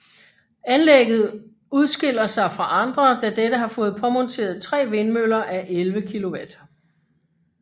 Anlægget udskiller sig fra andre da dette har fået påmonteret tre vindmøller a 11 kW